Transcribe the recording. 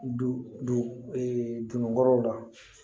Du dun kɔrɔw la